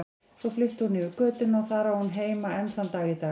Svo flutti hún yfir götuna og þar á hún heima enn þann dag í dag.